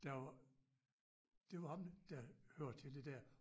Der var det var ham der hørte til det der